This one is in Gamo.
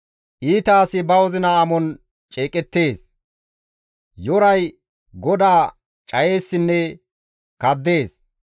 Iita asi ba wozina amon ceeqettees; Yoray GODAA cayeessinne kaddees.